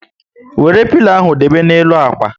Wéré pilo ahụ debe na n'elu ákwà